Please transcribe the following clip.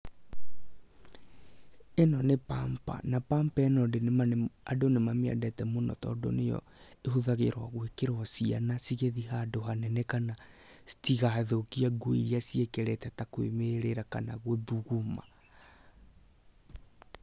Ĩno nĩ pamper na pamper ĩno andũ nĩ mamĩendete mũno, tondũ nĩyo ĩhũthagĩrwo gwĩkĩrwo ciana cigĩthiĩ handũ hanene, kana citigathũkie nguo iria ciĩkĩrĩte ta kwĩmĩrĩra kana gũthuguma.